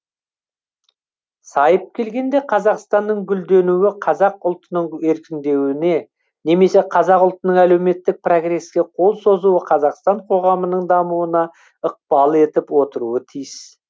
сайып келгенде қазақстанның гүлденуі қазақ ұлтының еркіндеуіне немесе қазақ ұлтының әлеуметтік прогреске қол созуы қазақстан коғамының дамуына ықпал етіп отыруы тиіс